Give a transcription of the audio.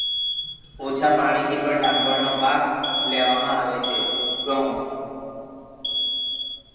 ઓછા પાણી થી પણ ડાંગર નો પાક લેવામાં આવે છે. ઘઉ.